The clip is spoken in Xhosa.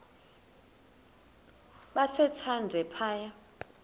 bathe thande phaya